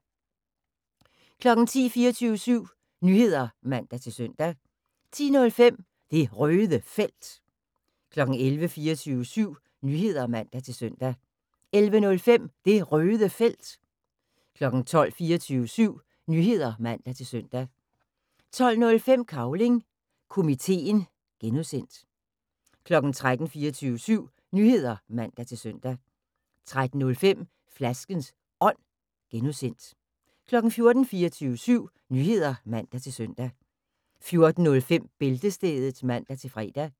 10:00: 24syv Nyheder (man-søn) 10:05: Det Røde Felt 11:00: 24syv Nyheder (man-søn) 11:05: Det Røde Felt 12:00: 24syv Nyheder (man-søn) 12:05: Cavling Komiteen (G) 13:00: 24syv Nyheder (man-søn) 13:05: Flaskens Ånd (G) 14:00: 24syv Nyheder (man-søn) 14:05: Bæltestedet (man-fre)